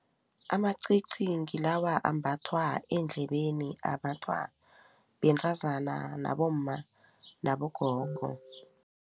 Amacici ngilawa ambathwa eendlebeni ambathwa bentazana, nabomma nabogogo.